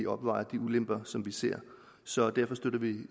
opvejer de ulemper som vi ser så derfor støtter vi